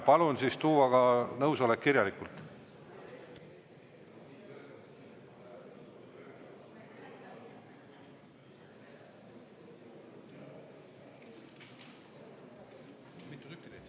Palun siis tuua nõusolek ka kirjalikult.